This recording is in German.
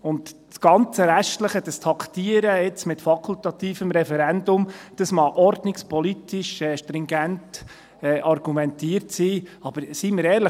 Das ganze Restliche, dieses Taktieren mit fakultativem Referendum, mag ordnungspolitisch stringent argumentiert sein, aber seien wir ehrlich: